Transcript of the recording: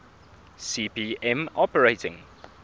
cp m operating